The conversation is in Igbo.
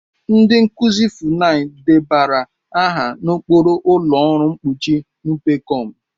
Ndị nkuzi Funai debara aha n'okpuru ụlọ ọrụ mkpuchi Nupecom